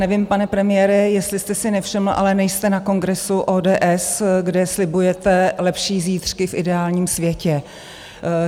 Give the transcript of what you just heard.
Nevím, pane premiére, jestli jste si nevšiml, ale nejste na kongresu ODS, kde slibujete lepší zítřky v ideálním světě.